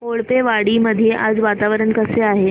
कोळपेवाडी मध्ये आज वातावरण कसे आहे